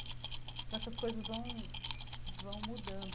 Então essas coisas vão vão mudando.